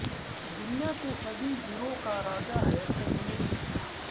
दुनिया के सभी हीरों का राजा है कोहिनूर हीरा